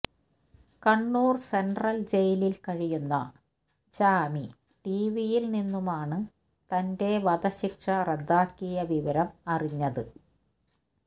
Kannur central ജയിലിൽ കഴിയുന്ന ചാമി ടിവിയിൽ നിന്നുമാണ് തന്റെ വധശിക്ഷ റദ്ദാക്കിയ വിവരം അറിഞ്ഞത്